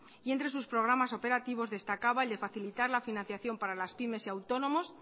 y entre sus programas operativos destacaba el de facilitar la financiación para las pymes y autónomos